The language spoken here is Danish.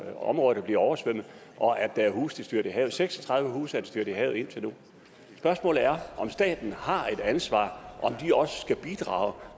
er områder der bliver oversvømmet og at der er huse der styrter i havet seks og tredive huse er styrtet i havet indtil nu spørgsmålet er om staten har et ansvar og om